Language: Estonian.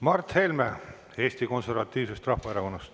Mart Helme Eesti Konservatiivsest Rahvaerakonnast.